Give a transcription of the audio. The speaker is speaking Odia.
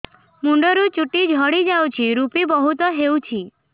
ମୁଣ୍ଡରୁ ଚୁଟି ଝଡି ଯାଉଛି ଋପି ବହୁତ ହେଉଛି